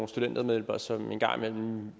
studentermedhjælpere som en gang imellem